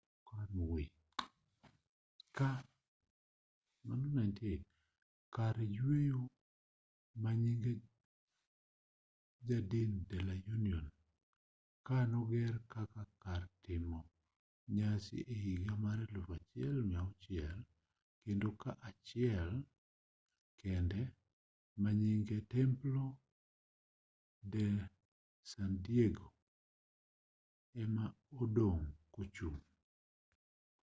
kar yweyo manyinge jardín de la unión. kaa noger kaka kar timo nyasi ehiga mag 1600 kendo ot achiel kende manyinge templo de san diego ema odong' kochung'